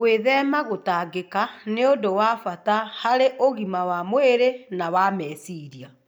Gwĩthema gũtangĩka nĩ ũndũ wa bata harĩ ũgima wa mwĩrĩ na wa meciria.